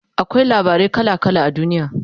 akwai labarai kala kala a duniya